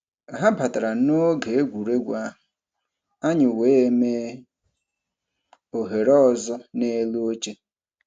Ha batara n'oge egwuregwu ahụ, anyị wee mee ohere ọzọ n'elu oche.